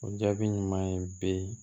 O jaabi ɲuman ye bɛ